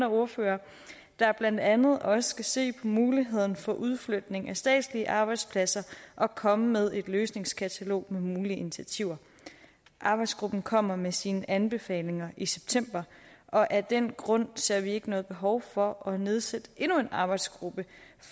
ordførerne der blandt andet også skal se på muligheden for udflytning af statslige arbejdspladser og komme med et løsningskatalog med mulige initiativer arbejdsgruppen kommer med sine anbefalinger i september og af den grund ser vi ikke noget behov for at nedsætte endnu en arbejdsgruppe